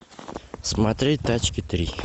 смотреть тачки три